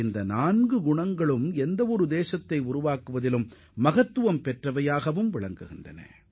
இந்த நான்கு அம்சங்களும்தான் நாட்டிற்கும் அடித்தளமாக அமைந்துள்ளன